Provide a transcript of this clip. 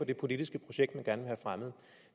det politiske projekt man gerne vil have fremmet